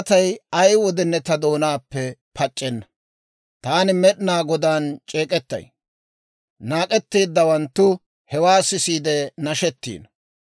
Taani Med'inaa Godaan c'eek'ettay; naak'etteeddawanttu hewaa sisiide nashetino.